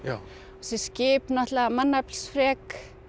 þessi skip náttúrulega mannaflsfrek